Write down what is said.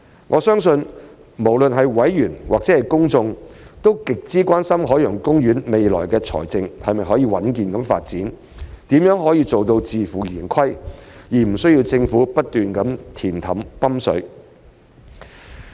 我相信，無論是委員或公眾，都極之關心海洋公園未來的財政是否可穩健發展、如何才能做到自負盈虧，而無需政府不斷"填氹"、"泵水"。